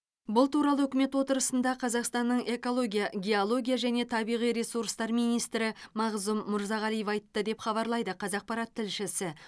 бұл туралы үкімет отырысында қазақстанның экология геология және табиғи ресурстар министрі мағзұм мырзағалиев айтты деп хабарлайды қазақпарат тілшісі